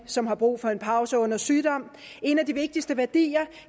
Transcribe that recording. som har brug for en pause under sygdom en af de vigtigste værdier